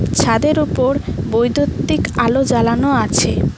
ছাদের উপর বৈদ্যুতির আলো জ্বালানো আছে।